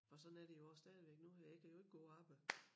Og sådan er det jo også stadigvæk nu her jeg kan jo ikke gå og arbejde